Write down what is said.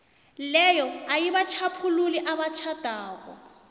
leyo ayibatjhaphululi abatjhadako